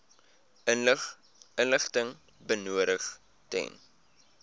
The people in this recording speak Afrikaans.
inligting benodig ten